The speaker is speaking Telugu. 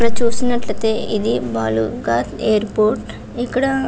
ఇక్కడ చూస్తునట్టు ఇది ఒక బాలరఘాట్ ఎయిర్పోర్టు .